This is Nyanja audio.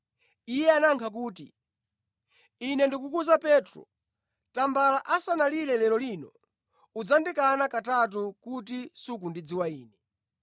Yesu anayankha kuti, “Ine ndikukuwuza Petro, tambala asanalire lero lino, udzandikana katatu kuti sukundidziwa Ine.”